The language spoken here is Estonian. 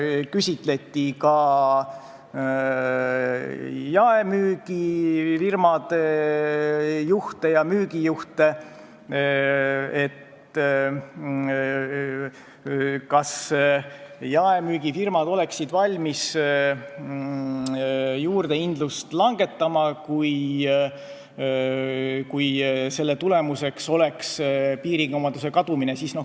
Küsiti ka jaemüügifirmade juhtidelt ja müügijuhtidelt, kas jaemüügifirmad oleksid valmis juurdehindlust langetama, kui selle tulemuseks oleks piirikaubanduse kadumine.